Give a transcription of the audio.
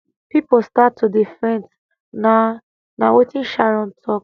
pipo start to dey faint na na wetin sharon tok